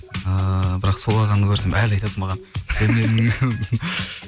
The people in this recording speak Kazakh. ііі бірақ сол ағаны көрсем әлі айтады маған